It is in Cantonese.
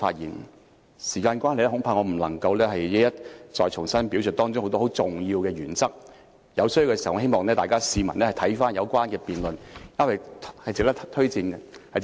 由於時間關係，我恐怕不能夠一一重新表述當中很多很重要的原則，在需要時，希望各位市民可翻看有關的辯論，那是值得推薦和觀看的。